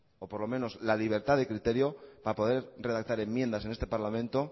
o por lo menos la libertad de criterio para poder redactar enmiendas en este parlamento